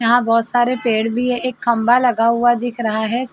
यहाँ बहोत सारे पेड़ भी हैं। एक खंभा लगा हुआ दिख रहा है।